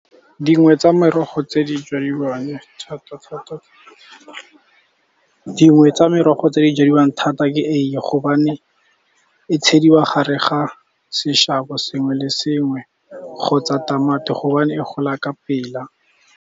Dingwe tsa merogo tse di jadiwang thata ke eiye, gobane e tshediwa gare ga seshabo sengwe le sengwe kgotsa tamati gobane e gola ka pela.